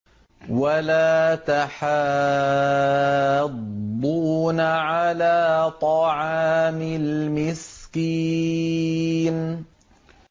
وَلَا تَحَاضُّونَ عَلَىٰ طَعَامِ الْمِسْكِينِ